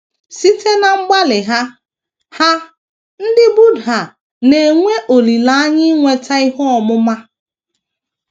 Site ná mgbalị ha, ha, ndị Buddha na - enwe olileanya inweta ihe ọmụma.